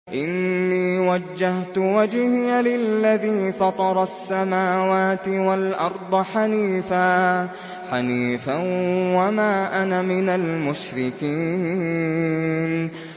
إِنِّي وَجَّهْتُ وَجْهِيَ لِلَّذِي فَطَرَ السَّمَاوَاتِ وَالْأَرْضَ حَنِيفًا ۖ وَمَا أَنَا مِنَ الْمُشْرِكِينَ